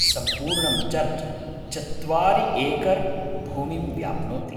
सम्पूर्णम् चर्च् चत्वारिएकर् भूमिं व्याप्नोति।